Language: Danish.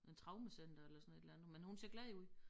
En traumecenter eller sådan et eller andet men hun ser glad ud